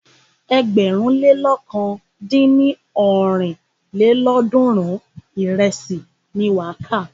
Ẹgbẹ̀rún lé lọ̀kan dín ní ọ́rin lélọ́ọ̀dúnrún ìrẹsì ni wà á kà.